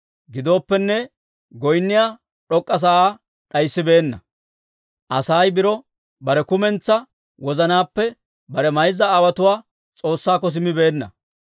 Gidooppenne, goynniyaa d'ok'k'a sa'aa d'ayisibeenna; Asay biro bare kumentsaa wozanaappe bare mayza aawotuwaa S'oossaakko simmibeenna.